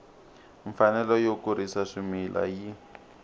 mfanelo yo kurisa swimila yi